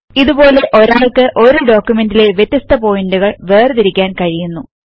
ഇതുപോലെ ഒരാൾക്ക് ഒരു ഡോക്യുമെന്റ് ലെ വ്യത്യസ്ത പോയിന്റുകൾ വേർതിരിക്കാൻ കഴിയുന്നു